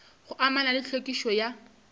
go amana le tlhwekišo ya